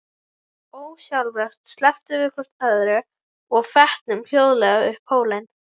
Ósjálfrátt slepptum við hvort öðru og fetuðum hljóðlega upp hólinn.